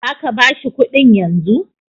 Za ka ba shi kuɗin yanzu?